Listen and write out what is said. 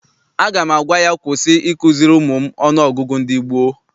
Aga m agwa ya, kwụsị ikuziri ụmụ m ọnụọgụgụ ndị gboo!